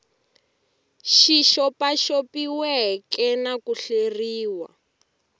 xi xopaxopiweke na ku hleriw